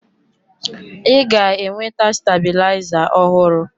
Ị ga-enweta stabilizer ọhụrụ.